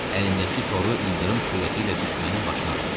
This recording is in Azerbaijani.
Əlindəki toru ildırım sürəti ilə düşmənin başına atdı.